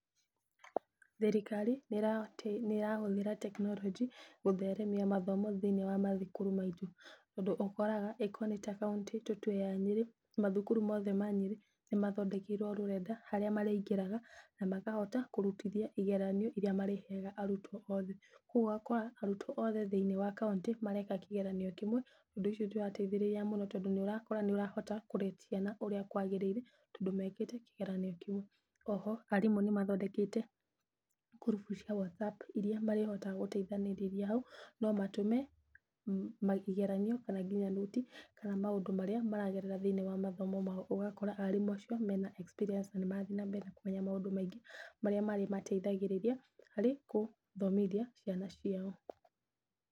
Thirikari nĩ ĩrahũthĩra tekinoronjĩ gũtheremia mathomo thĩiniĩ wa mathukuru maitũ. Ũndũ ũkoraga okorwo nĩ kauntĩ tũtue ta ya Nyĩrĩ mathukuru mothe ma Nyĩrĩ nĩ mathondekeirwo rũrenda harĩa mariingĩraga na makahota kũrutithia igeranio iria marĩheaga arutwo othe. Koguo ũgakora arutwo othe thĩiniĩ wa kauntĩ mareka kĩgeranio kĩmwe, ũndũ ũcio nĩ ũrateithĩrĩria mũno, tondũ nĩ ũrakora nĩ ũrahota kũ rate ciana ũrĩa kwagĩrĩire, tondũ mekĩte kĩgeranio kĩmwe. O ho arimũ nĩ mathondekete ngurubu cia whatsapp iria marihotaga gũteithanĩrĩria hau, no matũme kĩgeranio kana nginya nũti kana nginya maũndũ marĩa maragerera thĩiniĩ wa mathomo mao. Ũgakora arimũ acio mena experience na nĩ marathiĩ na mbere na kũmenya maũndũ maingĩ marĩa marĩmateithagĩrĩria harĩ kũthomithia ciana ciao.